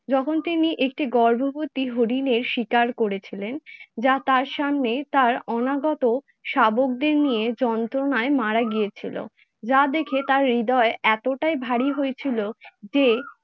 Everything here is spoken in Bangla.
যখন তিনি একটি গর্ববতী হরিণের শিকার করেছিলেন। যা তার সামনে তার অনাগত শাবকদের নিয়ে যন্ত্রনায় মারা গিয়েছিলো, যা দেখে তার হৃদয় এতটাই ভারী হয়েছিল যে